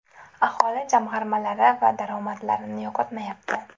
Aholi jamg‘armalari va daromadlarini yo‘qotmayapti.